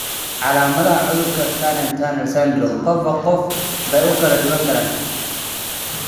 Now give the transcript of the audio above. Calaamadaha cudurka tunnel tunnel syndrome qofba qof bay ku kala duwanaan karaan.